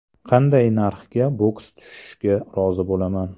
Qanday narxga boks tushishga rozi bo‘laman?